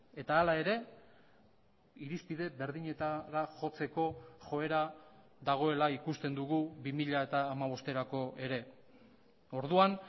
eta hala ere irizpide berdinetara jotzeko joera dagoela ikusten dugu bi mila hamabosterako ere orduan